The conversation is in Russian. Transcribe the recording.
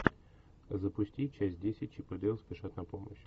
запусти часть десять чип и дейл спешат на помощь